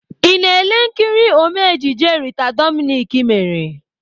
I na-ele nkiri Ome ejije Rita Dominic mere?